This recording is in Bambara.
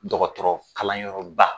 Dɔgɔtɔrɔ kalan yɔrɔ ba.